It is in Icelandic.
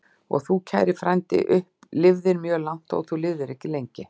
Og þú, kæri frændi, lifðir mjög langt, þótt þú lifðir ekki lengi.